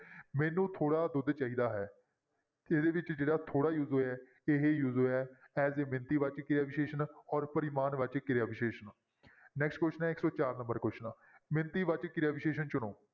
ਮੈਨੂੰ ਥੋੜ੍ਹਾ ਦੁੱਧ ਚਾਹੀਦਾ ਹੈ ਇਹਦੇ ਵਿੱਚ ਜਿਹੜਾ ਥੋੜ੍ਹਾ use ਹੋਇਆ, ਇਹ use ਹੋਇਆ ਹੈ as a ਮਿਣਤੀ ਵਾਚਕ ਕਿਰਿਆ ਵਿਸ਼ੇਸ਼ਣ ਔਰ ਪਰਿਮਾਣਵਾਚਕ ਕਿਰਿਆ ਵਿਸ਼ੇਸ਼ਣ next question ਹੈ ਇੱਕ ਸੌ ਚਾਰ number question ਮਿਣਤੀ ਵਾਚਕ ਕਿਰਿਆ ਵਿਸ਼ੇਸ਼ਣ ਚੁਣੋ